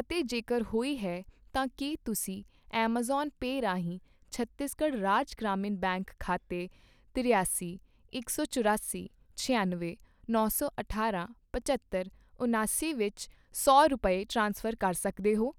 ਅਤੇ ਜੇਕਰ ਹੋਈ ਹੈ, ਤਾਂ ਕੀ ਤੁਸੀਂ ਐੱਮਾਜ਼ਾਨ ਪੇ ਰਾਹੀਂ ਛੱਤੀਸਗੜ੍ਹ ਰਾਜ ਗ੍ਰਾਮੀਣ ਬੈਂਕ ਖਾਤੇ ਤਰਿਆਸੀ, ਇਕ ਸੌ ਚੁਰਾਸੀ, ਛਿਆਨਵੇਂ, ਨੌ ਸੌ ਅਠਾਰਾਂ, ਪਝੱਤਰ, ਉਣਾਸੀ ਵਿਚ ਸੌ ਰੁਪਏ, ਟ੍ਰਾਂਸਫਰ ਕਰ ਸਕਦੇ ਹੋ ?